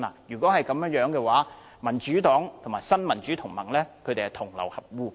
如果是這樣的話，民主黨和新民主同盟便是同流合污。